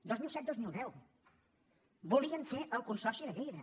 dos mil set dos mil deu volien fer el consorci de lleida